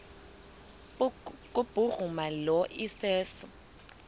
kubhuruma lo iseso